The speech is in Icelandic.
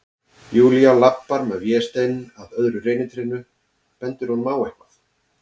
Júlía labbar með Véstein að öðru reynitrénu, bendir honum á eitthvað.